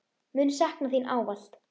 Mun sakna þín ávallt.